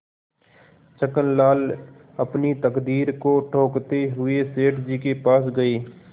छक्कनलाल अपनी तकदीर को ठोंकते हुए सेठ जी के पास गये